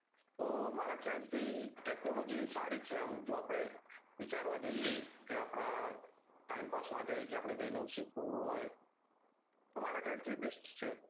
તો મારા ખ્યાલ થી technology સારી છે આમ વિચારવા જઈએ કે આપડા time pass માટે કે આપડે કઈ નવું શીખવું હોય તો મારા ખ્યાલ થી best છે